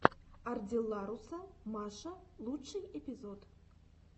ардилларуса маша лучший эпизод